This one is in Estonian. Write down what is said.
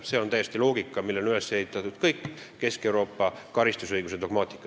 See on loogika, millele on üles ehitatud kogu Kesk-Euroopa karistusõiguse dogmaatika.